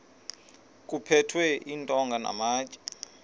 kuphethwe iintonga namatye